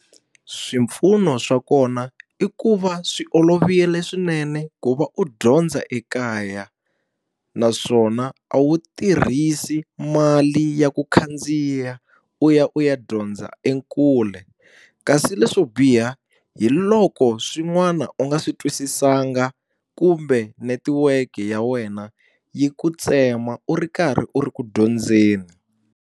Swipfuno swa kona i ku va swi olovile swinene ku va u dyondza ekaya, naswona a wu tirhisi mali ya ku khandziya u ya u ya dyondza ekule. Kasi leswo biha hi loko swin'wana u nga swi twisisanga kumbe netiweke ya wena yi ku tsema u ri karhi u ri ku dyondzeni.